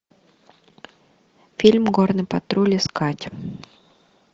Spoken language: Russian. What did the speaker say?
фильм горный патруль искать